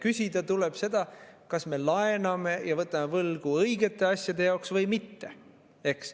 Küsida tuleb seda, kas me laename ja võtame võlgu õigete asjade jaoks või mitte.